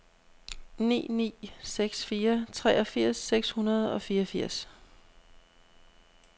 ni ni seks fire treogfirs seks hundrede og fireogfirs